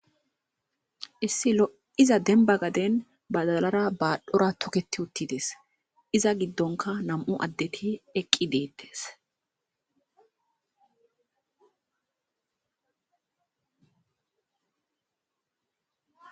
issi lo'iza demba gaden badalara baadhora toketi uttides, iza giddonka nam'u addeti eqqi detes.